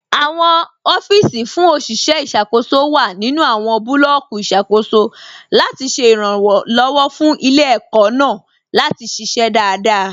Awọn ọfiisi fún oṣiṣẹ iṣakoso wa nínu awọn bulọọki iṣakoso latí ṣẹ iranlọwọ fún ilẹ̀-ẹkó̀ naà latí ṣiṣẹ̀ daradara.